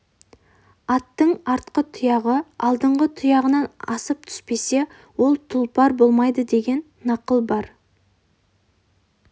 аттың артқы тұяғы алдыңғы тұяғынан асып түспесе ол тұлпар болмайды деген нақыл бар